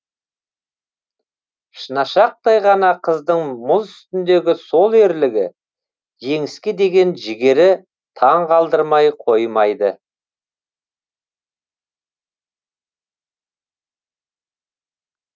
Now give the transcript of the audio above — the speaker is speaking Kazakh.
шынашақтай ғана қыздың мұз үстіндегі сол ерлігі жеңіске деген жігері таңғалдырмай қоймайды